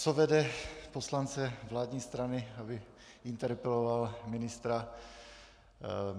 Co vede poslance vládní strany, aby interpeloval ministra?